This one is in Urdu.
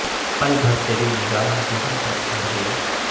پل بھر تری نگاہ جو ہم پر ٹھہر گئی